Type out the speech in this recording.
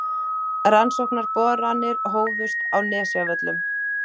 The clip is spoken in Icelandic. Rannsóknarboranir hófust á Nesjavöllum